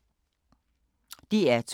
DR2